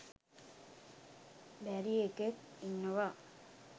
බැරි එකෙක් ඉන්නවා.